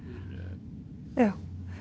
já